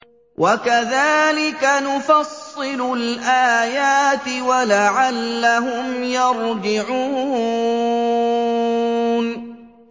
وَكَذَٰلِكَ نُفَصِّلُ الْآيَاتِ وَلَعَلَّهُمْ يَرْجِعُونَ